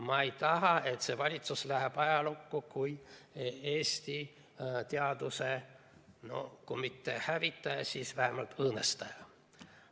Ma ei taha, et see valitsus läheb ajalukku kui Eesti teaduse no kui mitte hävitaja, siis vähemalt õõnestaja.